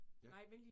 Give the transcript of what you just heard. Ja